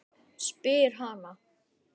spyr Hanna.